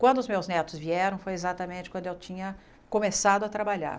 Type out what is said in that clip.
Quando os meus netos vieram foi exatamente quando eu tinha começado a trabalhar.